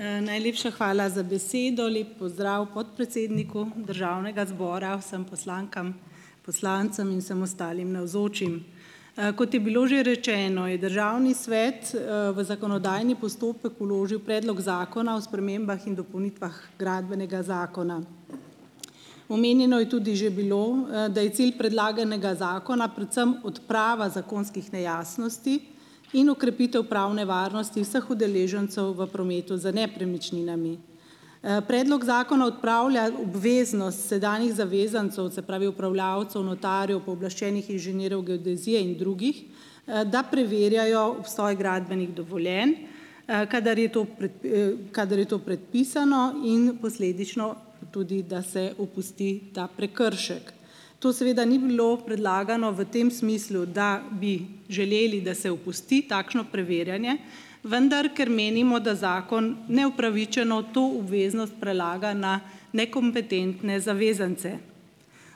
Najlepša hvala za besedo. Lep pozdrav podpredsedniku državnega zbora, vsem poslankam, poslancem in vsem ostalim navzočim. Kot je bilo že rečeno, je državni svet, v zakonodajni postopek vložil predlog zakona o spremembah in dopolnitvah Gradbenega zakona. Omenjeno je tudi že bilo, da je cilj predlaganega zakona predvsem odprava zakonskih nejasnosti in okrepitev pravne varnosti vseh udeležencev v prometu z nepremičninami. Predlog zakona odpravlja obveznost sedanjih zavezancev, se pravi upravljavcev, notarjev, pooblaščenih inženirjev geodezije in drugih, da preverjajo obstoj gradbenih dovoljenj, kadar je to kadar je to predpisano in posledično tudi, da se opusti ta prekršek. To seveda ni bilo predlagano v tem smislu, da bi želeli, da se opusti takšno preverjanje, vendar, ker menimo, da zakon neupravičeno to obveznost prelaga na nekompetentne zavezance.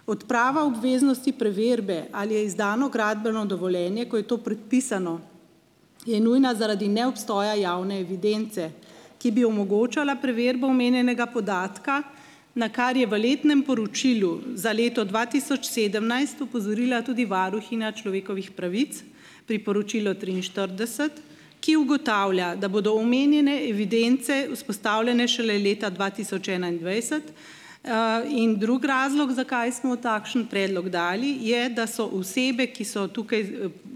Odprava obveznosti preverbe, ali je izdano gradbeno dovoljenje, ko je to predpisano je nujna, zaradi neobstoja javne evidence, ki bi omogočala preverbo omenjenega podatka, na kar je v letnem poročilu za leto dva tisoč sedemnajst opozorila tudi varuhinja človekovih pravic, priporočilo triinštirideset, ki ugotavlja, da bodo omenjene evidence vzpostavljene šele leta dva tisoč enaindvajset, in drug razlog, zakaj smo takšen predlog dali, je, da so osebe, ki so tukaj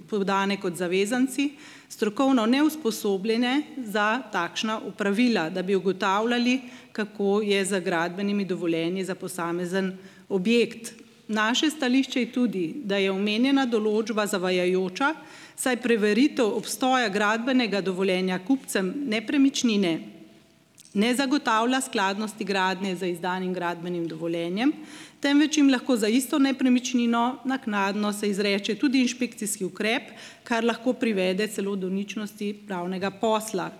podane kot zavezanci, strokovno neusposobljene za takšna opravila, da bi ugotavljali, kako je z gradbenimi dovoljenji za posamezen objekt. Naše stališče je tudi, da je omenjena določba zavajajoča, saj preveritev obstoja gradbenega dovoljenja kupcem nepremičnine ne zagotavlja skladnosti gradnje z izdanim gradbenim dovoljenjem, temveč jim lahko za isto nepremičnino naknadno se izreče tudi inšpekcijski ukrep, kar lahko privede celo do ničnosti pravnega posla.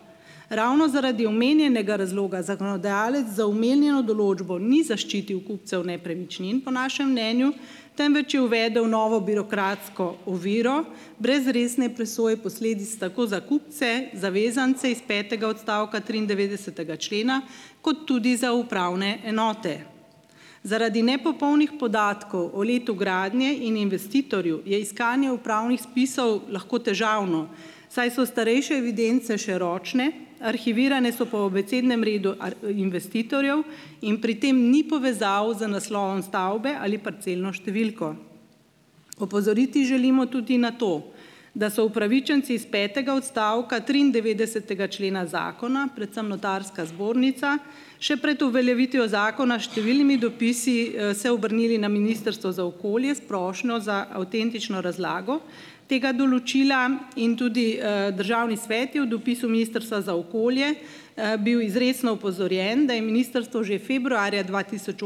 Ravno zaradi omenjenega razloga zakonodajalec za omenjeno določbo ni zaščitil kupcev nepremičnin po našem mnenju, temveč je uvedel novo birokratsko oviro brez resne presoje posledic, tako za kupce, zavezance iz petega odstavka triindevetdesetega člena, kot tudi za upravne enote. Zaradi nepopolnih podatkov o letu gradnje in investitorju je iskanje upravnih spisov lahko težavno, saj so starejše evidence še ročne, arhivirane so po abecednem redu investitorjev in pri tem ni povezav z naslovom stavbe ali parcelno številko, opozoriti želimo tudi na to, da so upravičenci iz petega odstavka triindevetdesetega člena zakona, predvsem notarska zbornica, še pred uveljavitvijo zakona, številnimi dopisi, se obrnili na Ministrstvo za okolje s prošnjo za avtentično razlago tega določila in tudi, državni svet je v dopisu Ministrstva za okolje, bil izrecno opozorjen, da je ministrstvo že februarja dva tisoč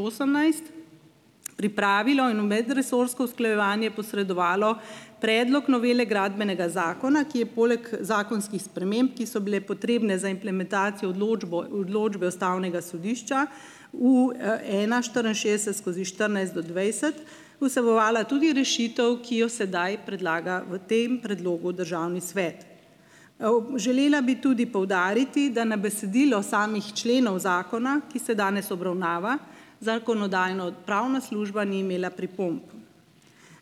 osemnajst pripravilo in v medresorsko usklajevanje posredovalo predlog novele gradbenega zakona, ki je poleg zakonskih sprememb, ki so bile potrebne za implementacijo odločbo odločbe ustavnega sodišča v, ena štiriinšestdeset skozi štirinajst do dvajset, vsebovala tudi rešitev, ki jo sedaj predlaga v tem predlogu državni svet. Želela bi tudi poudariti, da na besedilo samih členov zakona, ki se danes obravnava, Zakonodajno-pravna služba ni imela pripomb.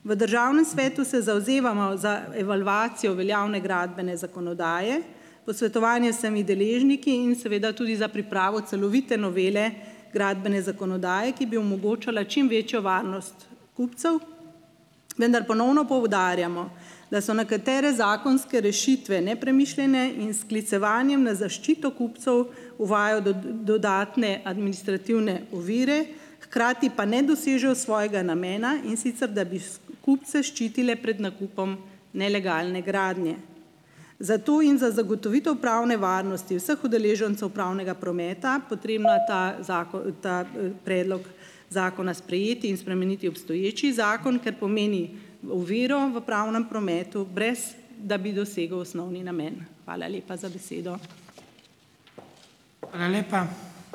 V državnem svetu se zavzemamo za evalvacijo veljavne gradbene zakonodaje, posvetovanje vsemi deležniki in seveda tudi za pripravo celovite novele gradbene zakonodaje, ki bi omogočala čim večjo varnost kupcev. Vendar ponovno poudarjamo, da so nekatere zakonske rešitve nepremišljene in sklicevanjem na zaščito kupcev uvajajo dodatne administrativne ovire, hkrati pa ne dosežejo svojega namena, in sicer da bi kupce ščitile pred nakupom nelegalne gradnje. Zato jim za zagotovitev pravne varnosti vseh udeležencev pravnega prometa, potrebna ta zakon, ta, predlog zakona sprejeti in spremeniti obstoječi zakon, ker pomeni oviro v pravnem prometu, brez da bi dosegel osnovni namen. Hvala lepa za besedo.